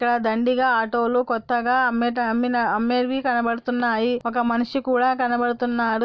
ఇక్కడ దండిగా ఆటో లు కొత్తగా అమ్మేట అమ్మిన అమ్మేవి కనబడుతున్నాయి ఒక మనిషి కూడా కనబడుతున్నాడు.